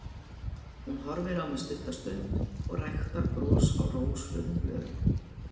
Hún horfir á mig stutta stund og ræktar bros á rósrauðum vörum.